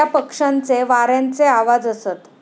त्या पक्षांचे वाऱ्यांचे आवाजअसत